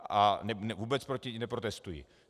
A vůbec proti ní neprotestuji.